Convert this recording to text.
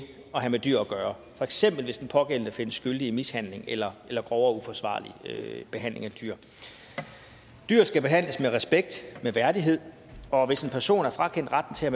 have med dyr gøre for eksempel hvis den pågældende findes skyldig i mishandling eller eller grov og uforsvarlig behandling af dyr dyr skal behandles med respekt med værdighed og hvis en person er frakendt retten til at